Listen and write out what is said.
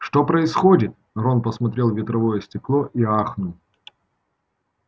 что происходит рон посмотрел в ветровое стекло и ахнул